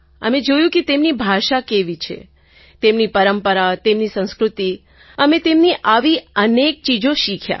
અમે જોયું કે તેમની ભાષા કેવી છે તેમની પરંપરા તેમની સંસ્કૃતિ અમે તેમની આવી અનેક ચીજો શીખી